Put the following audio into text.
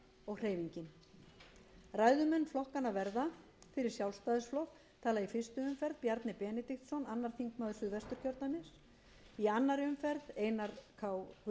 og hreyfingin ræðumenn flokkanna verða fyrir sjálfstæðisflokk tala í fyrstu umferð bjarni benediktsson annar þingmaður suðvesturkjördæmis í annarri umferð einar k guðfinnsson fimmti þingmaður